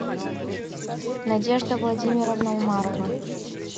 надежда владимировна умарова